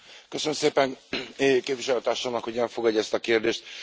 Köszönöm szépen Képviselőtársamnak, hogy elfogadja ezt a kérdést.